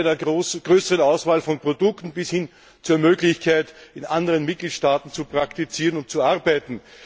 Das beginnt bei der größeren Auswahl von Produkten bis hin zur Möglichkeit, in anderen Mitgliedstaaten zu praktizieren und zu arbeiten.